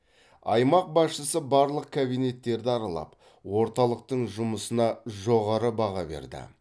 аймақ басшысы барлық кабинеттерді аралап орталықтың жұмысына жоғары баға берді